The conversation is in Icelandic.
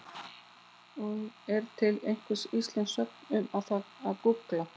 Og er til einhver íslensk sögn um það að gúgla?